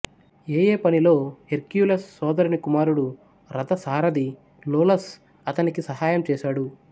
ఏఏ పనిలో హెర్క్యులస్ సోదరుని కుమారుడు రథ సారధి లోలస్ అతనికి సహాయం చేశాడు